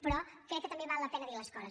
però crec que també val la pena dir les coses